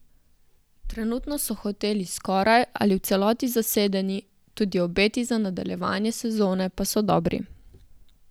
Trenutno so hoteli skoraj ali v celoti zasedeni, tudi obeti za nadaljevanje sezone pa so dobri.